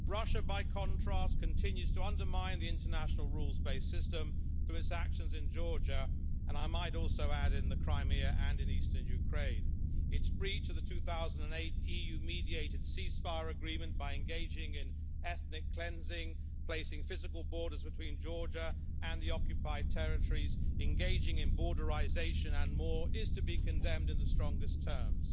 Russia, by contrast, continues to undermine the international rules based system through its actions in Georgia and, I might also add, in Crimea and in eastern Ukraine. Its breach of the 2008 EU mediated ceasefire agreement by engaging in ethnic cleansing, placing physical borders between Georgia and the occupied territories, engaging in borderisation and more, is to be condemned in the strongest terms.